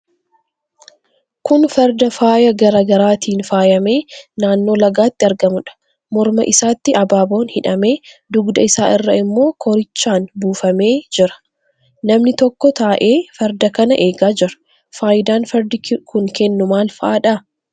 Kun farda faayaa garaa garaatiin faayamee naannoo lagaatti argamuudha. Morma isaatti abaaboon hidhamee, dugda isaa irra immoo koorichaan buufamee jira. Namni tokko taa'ee farda kana eegaa jira. Faayidaan fardi kennu maal faadha?